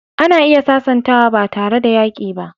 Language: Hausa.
Ana iya sasantawa ba tare da yaƙi ba.